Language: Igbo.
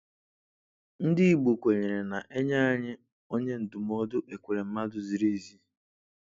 Ndị Igbo kwenyere na ‘na-enye anyị onye ndụmọdụ Ekweremadu ziri ezi